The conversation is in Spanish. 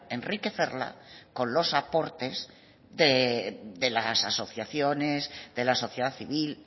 enriquecerla con los aportes de las asociaciones de la sociedad civil